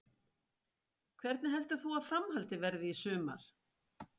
Hvernig heldur þú að framhaldið verði í sumar?